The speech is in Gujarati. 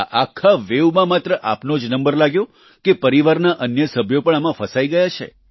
આ આખા વેવમાં માત્ર આપનો જ નંબર લાગ્યો કે પરિવારના અન્ય સભ્યો પણ આમાં ફસાઈ ગયા છે